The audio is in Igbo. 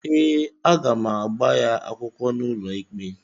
Ee, aga m agba ya akwụkwọ n’ụlọikpe